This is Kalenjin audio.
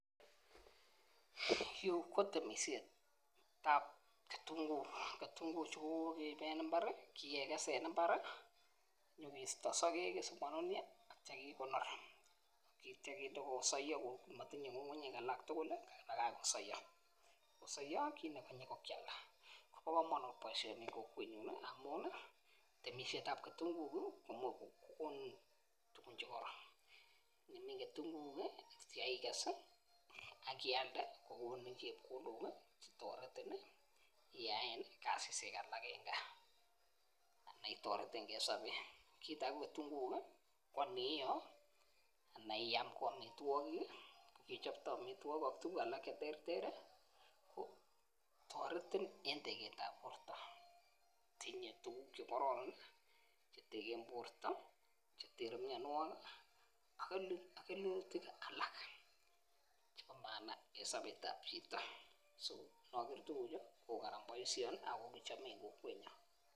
Yuu kitemishetab kitunguik, ketunguk chuu ko kokeib en imbar Keges en imbar kisto soket ak ityo kekonor, ak ityo kinde komotinye sokek alak tukul lii kebakach kosoyo. Kosoyo kit nekonye ko kialda bo komonut boishoni en kokwenyun nii amun nii temishet kitunguik kii komuch kokon tukun chekoron nimin keyinguuk kii ak ityo ikes ak ialde kokonin chepkondok chetoreti nii iyaen kasishek alak en gaa ana itoretengee en sobet. Kit age ko kitumguuk kii ko iniyoo ana iam ko omitwokik kii kechopto omitwokik ak tukuk alak cheterteri ko toreti en teketab kot tinye tukuk chekororon nii cheteken borto cheterter mionwokik kii ak kelutik alak chebo maana en sobetab chito so mokere tukuchu ko Karan boishoni ako kochome en kokwenyun.